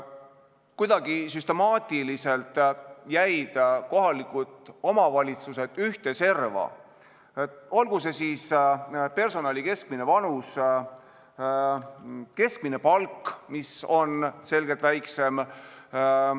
Kuidagi süstemaatiliselt jäid kohalikud omavalitsused ühte serva, olgu see siis kõrgem personali keskmine vanus või keskmine palk, mis on selgelt väiksem.